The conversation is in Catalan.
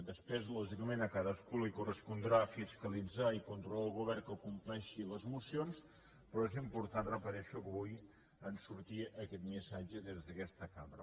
després lògicament a cadascú li correspondrà fiscalitzar i controlar el govern que compleixi les mocions però és important ho repeteixo que avui surti aquest missatge des d’aquesta cambra